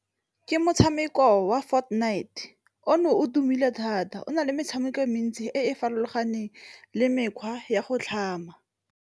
Ke motshameko wa Fortnight ono o tumile thata, o na le metshameko e mentsi e e farologaneng le mekgwa ya go tlhama.